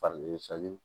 Fari